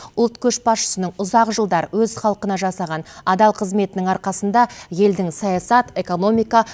ұлт көшбасшысының ұзақ жылдар өз халқына жасаған адал қызметінің арқасында елдің саясат экономика